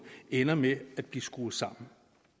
ender med at blive skruet sammen